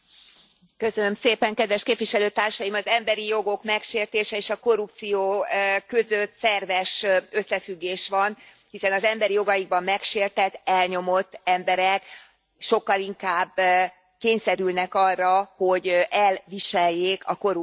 Elnök Úr, kedves Képviselőtársaim, az emberi jogok megsértése és a korrupció között szerves összefüggés van, hiszen az emberi jogaiban megsértett, elnyomott emberek sokkal inkább kényszerülnek arra, hogy elviseljék a korrupciót.